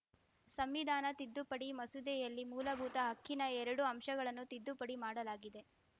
ಸಂವಿಧಾನ ತಿದ್ದುಪಡಿ ಮಸೂದೆಯಲ್ಲಿ ಮೂಲಭೂತ ಹಕ್ಕಿನ ಎರಡು ಅಂಶಗಳನ್ನು ತಿದ್ದುಪಡಿ ಮಾಡಲಾಗಿದೆ